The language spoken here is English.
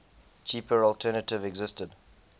cheaper alternative existed